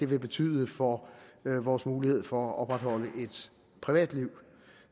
vil betyde for vores mulighed for at opretholde et privatliv